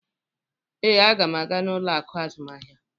Ee, m ga-aga n:ụlọ akụ azụmahịa.